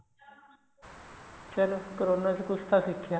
ਚਲੋਂ ਕਰੋਨਾ ਚ ਕੁੱਛ ਤਾਂ ਸਿੱਖਿਆਂ